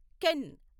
can